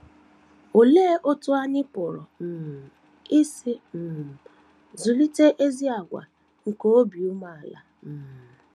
Olee otú anyị pụrụ um isi um zụlite ezi àgwà nke nke obi umeala? um